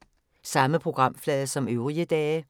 Samme programflade som øvrige dage